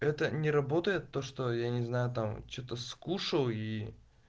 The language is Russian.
это не работает то что я не знаю там что-то скушал и